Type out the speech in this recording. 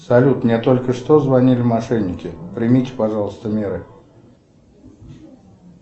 салют мне только что звонили мошенники примите пожалуйста меры